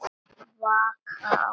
Vaka áfram.